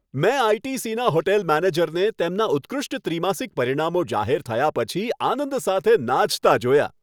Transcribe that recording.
મેં આઈ.ટી.સી.ના હોટેલ મેનેજરને તેમના ઉત્કૃષ્ટ ત્રિમાસિક પરિણામો જાહેર થયા પછી આનંદ સાથે નાચતા જોયા.